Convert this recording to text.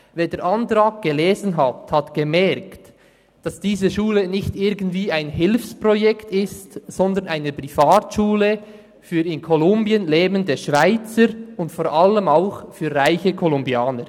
Wer den Antrag gelesen hat, hat gemerkt, dass diese Schule nicht irgendein Hilfsprojekt ist, sondern eine Privatschule für in Kolumbien lebende Schweizer und vor allem auch für reiche Kolumbianer.